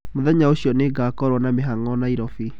Mũthenya ũcio nĩ ngakorũo na mĩhang'o Nairobi.